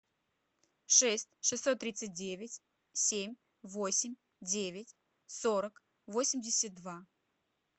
шесть шестьсот тридцать девять семь восемь девять сорок восемьдесят два